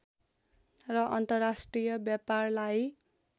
र अन्तर्राष्ट्रिय व्यापारलाई